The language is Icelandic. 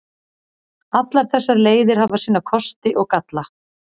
Allar þessar leiðir hafa sína kosti og galla.